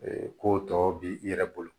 ko tɔ bi i yɛrɛ bolo